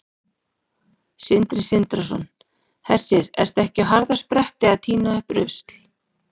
Sindri Sindrason: Hersir, ertu ekki á harðaspretti að tína upp rusl?